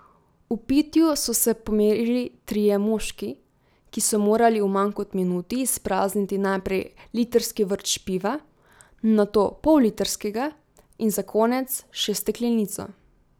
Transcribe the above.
V pitju so se pomerili trije moški, ki so morali v manj kot minuti izprazniti najprej litrski vrč piva, nato pollitrskega in za konec še steklenico.